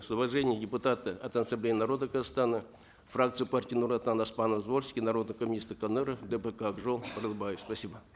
с уважением депутаты от ассамблеи народа казахстана фракция партии нур отан оспанов звольский народные коммунисты коныров дпк ак жол конакбаев спасибо